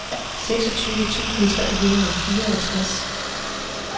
seksogtyve tusind tre hundrede og fireogtres